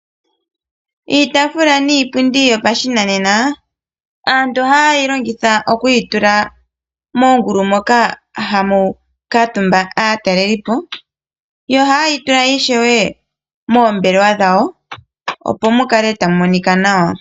Iitaafula niipundi yopashinanena, aantu ohaye yi longitha oku yitula moongulu moka hamu kuutumba aataleliipo, yo ohaye yi tula ishewe moombelewa dhawo opo mukale tamu monika nawa.